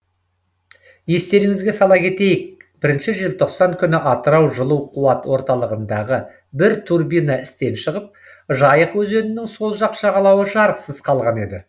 естеріңізге сала кетейік бірінші желтоқсан күні атырау жылу қуат орталығындағы бір турбина істен шығып жайық өзенінің сол жақ жағалауы жарықсыз қалған еді